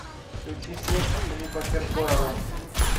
включи снег филиппа киркорова